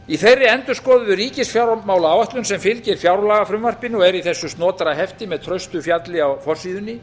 í þeirri endurskoðuðu ríkisfjármálaáætlun sem fylgir fjárlagafrumvarpinu og er í þessu snotra hefti með traustu fjalli á forsíðunni